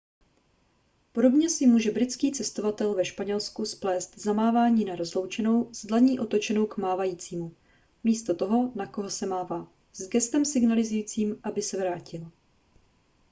podobně si může britský cestovatel ve španělsku splést zamávání na rozloučenou s dlaní otočenou k mávajícímu místo toho na koho se mává s gestem signalizujícím aby se vrátil